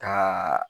Kaaa